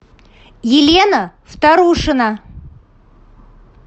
елена вторушина